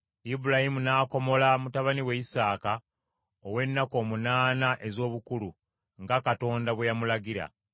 Ibulayimu n’akomola mutabani we Isaaka ow’ennaku omunaana ez’obukulu nga Katonda bwe yamulagira.